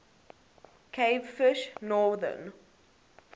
cavefish northern